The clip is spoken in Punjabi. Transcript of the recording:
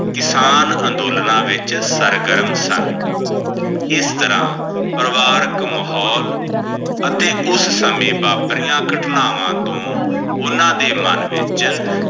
ਕਿਸਾਨ ਅੰਦੋਲਨ ਵਿੱਚ ਸਰ ਗਰਮ ਸਨ ਇਸ ਤਰਹ ਪਰਿਵਾਰਿਕ ਮਾਹੋਲ ਅਤੇ ਉਸ ਸਮੇਂ ਵਾਪਰੀਆਂ ਘਟਨਾਵਾਂ ਉਹਨਾਂ ਦੇ ਮਨ ਵਿੱਚ।